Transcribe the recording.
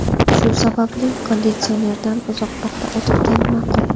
Shu sababli konditsionerdan uzoqroqda o‘tirgan ma’qul.